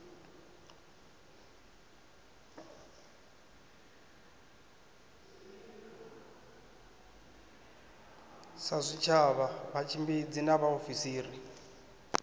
sa zwitshavha vhatshimbidzi na vhaofisiri